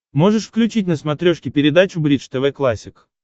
можешь включить на смотрешке передачу бридж тв классик